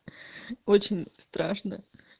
очень страшно